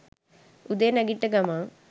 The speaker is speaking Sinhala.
උදේ නැගිට්ට ගමන්